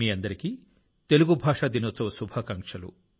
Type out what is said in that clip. అందరికీ తెలుగు భాషా దినోత్సవ శుభాకాంక్షలు